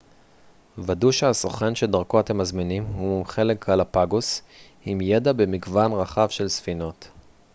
ודאו שהסוכן שדרכו אתם מזמינים הוא מומחה לגלאפגוס עם ידע במגוון רחב של ספינות